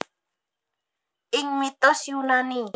Ing mitos Yunani